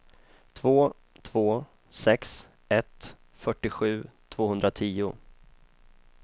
två två sex ett fyrtiosju tvåhundratio